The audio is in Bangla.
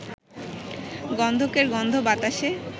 গন্ধকের গন্ধ বাতাসে